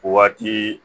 O waati